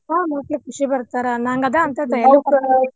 ನೋಡಿ ಖುಷಿಪಡ್ತಾರ ನಂಗ್ ಆದ .